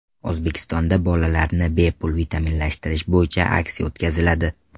O‘zbekistonda bolalarni bepul vitaminlashtirish bo‘yicha aksiya o‘tkaziladi.